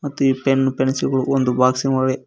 ತೀ pen pencil ಗಳು ಒಂದು ಬಾಕ್ಸಿಂನ್ ಒಳಗೆ--